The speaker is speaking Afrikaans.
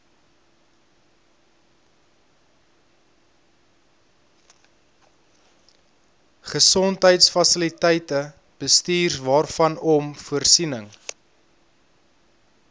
gesondheidsfasiliteite bestuurwaarvanom voorsiening